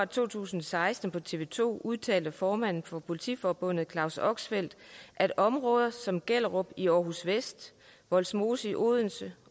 to tusind og seksten på tv to udtaler formanden for politiforbundet claus oxfelt at områder som gellerup i aarhus vest vollsmose i odense